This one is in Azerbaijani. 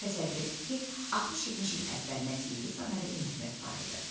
Təsəvvür et ki, 60-70 il əvvəlinə televizor nə də internet var idi.